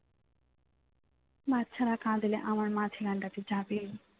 বাচ্চারা কাঁদবে আমার মা ছানাটার কাছে যাবেই